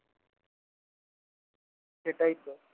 সেটাই তো